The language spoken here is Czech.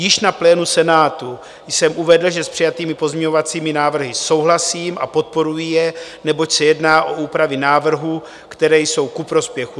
Již na plénu Senátu jsem uvedl, že s přijatými pozměňovacími návrhy souhlasím a podporuji je, neboť se jedná o úpravy návrhu, které jsou ku prospěchu.